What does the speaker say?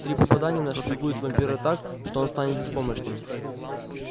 три попадания нашпигуют вампира так что он станет беспомощным